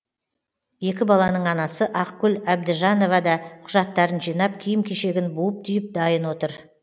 екі баланың анасы ақгүл әбдіжанова да құжаттарын жинап киім кешегін буып түйіп дайын отыр